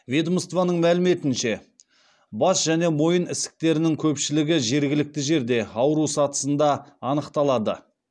ведомствоның мәліметінше бас және мойын ісіктерінің көпшілігі жергілікті жерде ауру сатысында анықталады